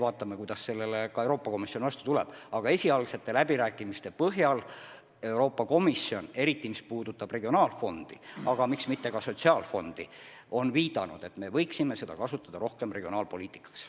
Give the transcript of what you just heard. Vaatame, kuidas Euroopa Komisjon meile vastu tuleb, aga esialgsete läbirääkimiste põhjal võib öelda, et Euroopa Komisjoni seisukoht on, et me võiksime eriti regionaalfondi, aga miks mitte ka sotsiaalfondi regionaalpoliitika elluviimiseks rohkem kasutada.